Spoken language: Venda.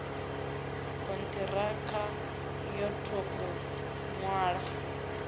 khonthirakha yo to u nwalwa